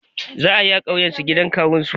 Za ayine a ƙauyusu gidan kawun shi